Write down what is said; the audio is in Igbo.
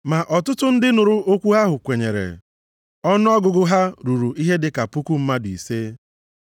Ma ọtụtụ ndị nụrụ okwu ahụ kwenyere. Ọnụọgụgụ ha ruru ihe dị ka puku mmadụ ise.